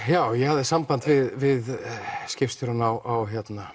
já ég hafði samband við skipstjórann á